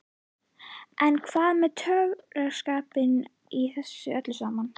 En hvað með töffaraskapinn í þessu öllu saman?